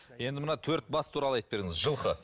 енді мына төрт бас туралы айтып беріңіз жылқы